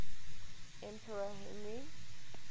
emperor henry